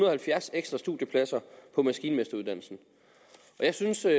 og halvfjerds ekstra studiepladser på maskinmesteruddannelsen jeg synes det er